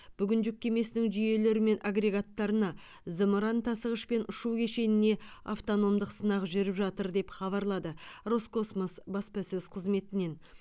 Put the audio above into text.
бүгін жүк кемесінің жүйелері мен агрегаттарына зымыран тасығыш пен ұшу кешеніне автономдық сынақ жүріп жатыр деп хабарлады роскосмос баспасөз қызметінен